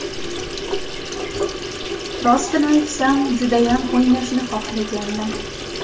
Rostini aytsam, judayam o‘ynashni xohlagandim.